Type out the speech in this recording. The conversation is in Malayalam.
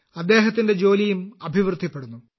അദ്ദേഹത്തിന്റെ ജോലിയും അഭിവൃദ്ധിപ്പെടുന്നു